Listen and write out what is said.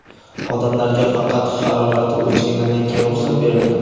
odamlarga faqat harorati o‘lchagandan keyin ruxsat berilgan.